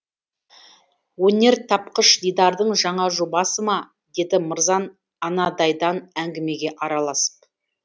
өнертапқыш дидардың жаңа жобасы ма деді мырзан анадайдан әңгімеге араласып